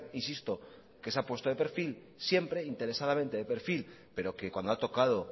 insisto que se ha puesto de perfil siempre interesadamente de perfil pero que cuando ha tocado